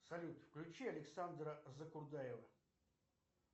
салют включи александра закурдаева